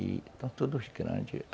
E, estão todos grandes, já.